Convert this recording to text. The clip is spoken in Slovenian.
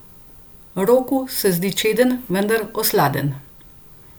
Roku se zdi čeden, vendar osladen.